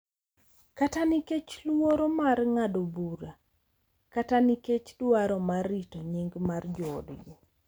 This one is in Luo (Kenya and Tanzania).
Kata nikech luoro mar ng’ado bura kata nikech dwaro mar rito nying’ mar joodgi.